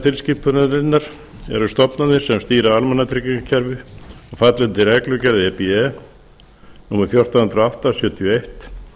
tilskipunarinnar eru stofnanir sem stýra almannatryggingakerfi og falla undir reglugerð e b e númer fjórtán hundruð og átta sjötíu og eitt